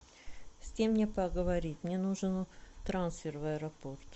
с кем мне поговорить мне нужен трансфер в аэропорт